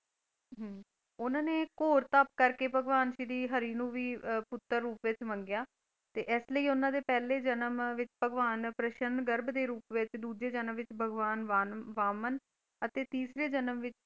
ਉਹਨਾਂ ਨੇ ਘੋਰ ਤਪ ਕਰਕੇ ਭਗਵਾਨ ਸ਼੍ਰੀ ਹਰਿ ਨੂੰ ਵੀ ਪੁੱਤਰ ਰੂਪ ਵਿੱਚ ਮੰਗਿਆ ਤੇ ਇਸ ਲਈ ਉਹਨਾਂ ਦੇ ਪਹਿਲੇ ਜਨਮ ਵਿੱਚ ਭਗਵਾਨ ਪ੍ਰਸ਼ਨ ਗਰਬ ਦੇ ਰੂਪ ਵਿੱਚ, ਦੂਜੇ ਜਨਮ ਵਿੱਚ ਭਗਵਾਨ ਵਾਮਨ ਅਤੇ ਤੀਸਰੇ ਜਨਮ ਵਿੱਚ,